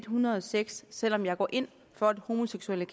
hundrede og seks selv om jeg går ind for at homoseksuelle